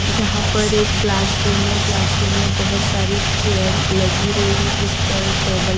यहां पर एक क्लाशरूम है क्लाशरूम में बहुत सारी चेयर लगी हुई है जिस पर टेबल .